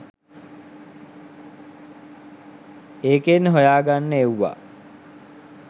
ඒකෙන් හොයාගන්න එව්වා